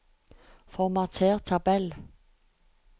Formater tabell